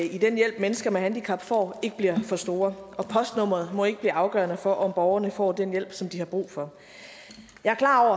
i den hjælp mennesker med handicap får ikke bliver for store og postnummeret må ikke blive afgørende for om borgerne får den hjælp som de har brug for jeg er klar